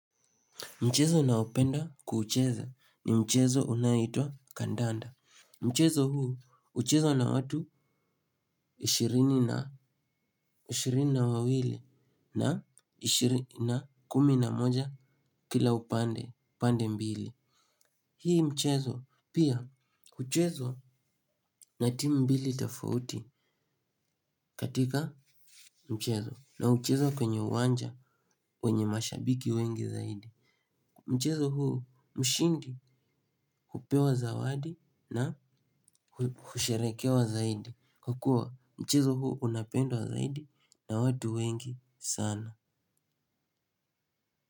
Mchezo ninaoupenda kuucheza ni mchezo unaoitwa kandanda. Mchezo huu uchezwa na watu ishirini na wawili na kumi na moja kila upande mbili. Hii mchezo pia uchezwa na timu mbili tofauti katika mchezo na uchezwa kwenye uwanja wenye mashabiki wengi zaidi. Mchezo huu mshindi hupewa zawadi na husherekewa zaidi. Kwa kuwa mchezo huu unapendwa zaidi na watu wengi sana.